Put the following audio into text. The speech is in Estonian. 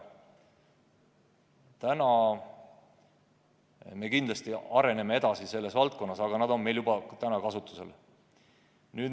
Praegu me kindlasti areneme edasi selles valdkonnas, aga need on meil juba täna kasutusel.